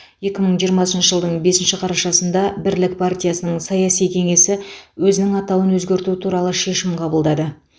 екі мың жиырмасыншы жылдың бесінші қарашасында бірлік партиясының саяси кеңесі өзінің атауын өзгерту туралы шешім қабылдады